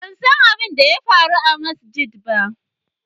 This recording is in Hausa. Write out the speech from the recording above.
ban san abin da ya faru a masajjada